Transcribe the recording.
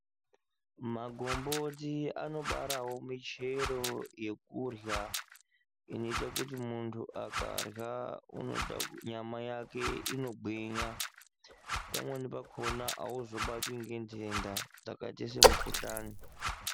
Magomboti anobarawo michero yokurya inoite kuti muntu akarya nyama yake inogwinya pamweni pakona auzobatwi ngendenda dzakaita semikhuhlani.